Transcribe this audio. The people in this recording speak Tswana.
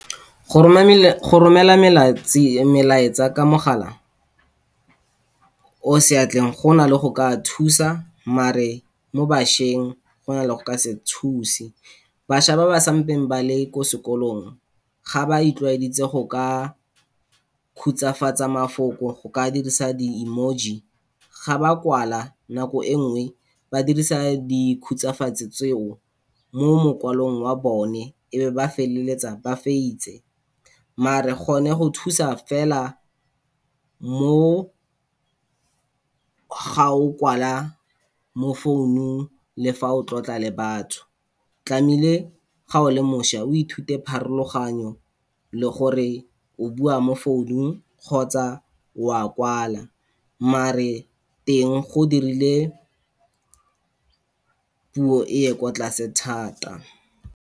Go roma, go romela melaetsa ka mogala o seatleng go na le go ka thusa mare mo bašweng, go na le go ka se thuse. Bašwa ba ba sampeng ba le ko sekolong, ga ba itlwaedisitse go ka khutshwafatsa mafoko go ka dirisa di-emoji ga ba kwala nako e nngwe, ba dirisa di khutshwafatse tseo mo mokwalong wa bone, e ba feleletsa ba , mare gone go thusa fela mo ga o kwala mo founung le fa o tlotla le batho, tlamehile ga o le mošwa o ithute pharologanyo le gore o bua mo founung kgotsa wa kwala, mare teng go dirile puo e ye kwa tlase thata.